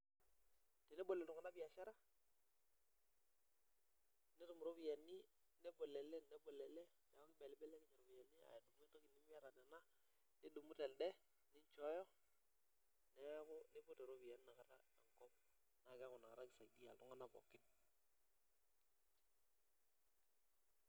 Teneboloo iltunganak biashara netum iropiyiani .nebolo ele nebolo elde neeku ketum iltunganak iropiyiani neeku kisaidia iltunganak pookin.